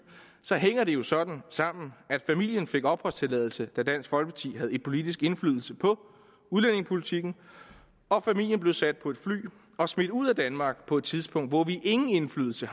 så hænger det jo sådan sammen at familien fik opholdstilladelse da dansk folkeparti havde politisk indflydelse på udlændingepolitikken og familien blev sat på et fly og smidt ud af danmark på et tidspunkt hvor vi ingen indflydelse